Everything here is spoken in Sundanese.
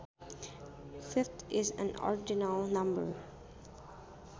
Fifth is an ordinal number